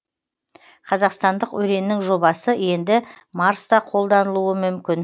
қазақстандық өреннің жобасы енді марста қолданылуы мүмкін